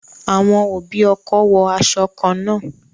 Àwọn òbí ọkọ wo aṣọ kan náà